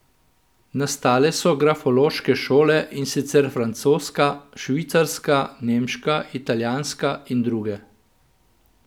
Nastale so grafološke šole, in sicer francoska, švicarska, nemška, italijanska in druge.